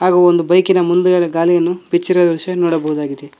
ಹಾಗು ಒಂದು ಬೈಕ್ ಇನ ಮುಂದುಗಡೆ ಗಾಲಿಯನ್ನು ಬಿಚ್ಚಿರುವ ದೃಶ್ಯ ನೋಡಬಹುದಾಗಿದೆ.